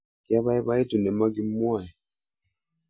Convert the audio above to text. kiabaibaitu ne makimwoeee